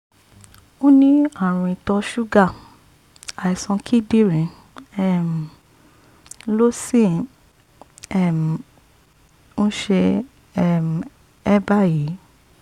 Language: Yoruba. ó ní ààrùn ìtọ̀ ṣúgà àìsàn kíndìnrín um ló sì um ń ṣe um é báyìí